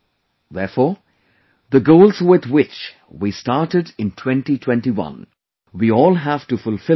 Therefore, the goals with which we started in 2021, we all have to fulfill them together